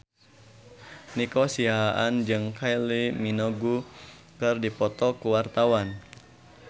Nico Siahaan jeung Kylie Minogue keur dipoto ku wartawan